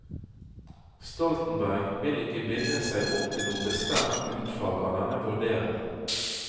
Stoltenberg vil ikke binde seg opp til noe bestemt utfall av denne vurderingen.